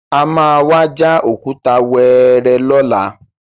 A má wá já òkúta wẹ́ẹ́rẹ́ lọ́la.